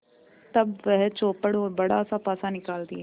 तब वह चौपड़ और बड़ासा पासा निकालती है